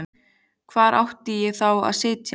Hvar átti ég þá að sitja?